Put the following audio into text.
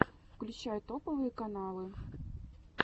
включай топовые каналы